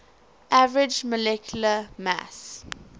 average molecular mass